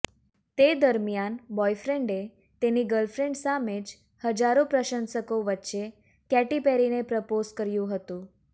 તે દરમિયાન બોયફ્રેન્ડે તેની ગર્લફ્રેન્ડ સામે જ હજારો પ્રશંસકો વચ્ચે કેટી પેરીને પ્રપોઝ કર્યું હતું